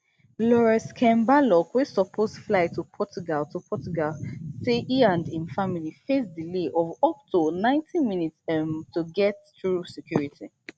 laurence kemballcook wey suppose fly to portugal to portugal say e and im family face delay of up to ninety minutes um to get through security